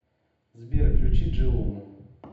сбер включи джиому